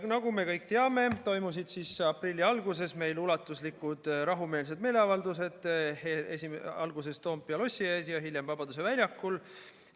Nagu me kõik teame, toimusid aprilli alguses meil ulatuslikud rahumeelsed meeleavaldused, alguses Toompea lossi ees ja hiljem Vabaduse väljakul.